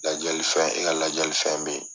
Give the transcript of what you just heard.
Lajali fɛn e ka lajali fɛn bɛ ye.